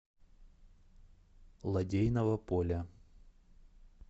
лодейного поля